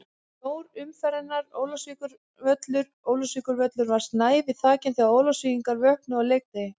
Snjór umferðarinnar: Ólafsvíkurvöllur Ólafsvíkurvöllur var snævi þakinn þegar Ólafsvíkingar vöknuðu á leikdegi.